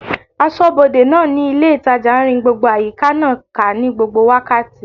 Asọ́bodè náà ní ilé ìtajà n rin gbogbo àyíká náà ká ní gbogbo wákàtí